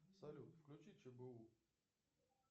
салют включи чбу